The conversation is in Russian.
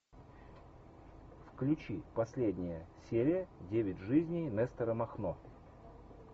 включи последняя серия девять жизней нестора махно